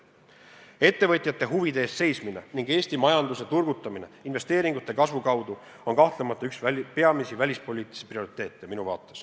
Ettevõtjate huvide eest seismine ning Eesti majanduse turgutamine investeeringute kasvu kaudu on minu vaates kahtlemata üks peamisi välispoliitilisi prioriteete.